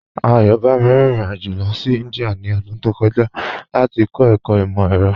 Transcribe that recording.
Ayọ̀bámi rín ìrìn-àjọ lọ sí Índíà ní ọdún tó kọ̀jà láti kọ̀ ẹkọ̀ imọ-ẹ̀rọ̀.